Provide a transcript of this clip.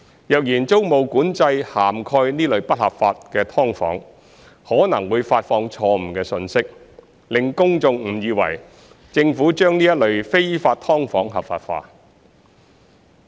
若然租務管制涵蓋這類不合法的"劏房"，可能會發放錯誤信息，令公眾誤以為政府把這類非法"劏房""合法化"。